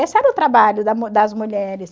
Esse era o trabalho da das mulheres.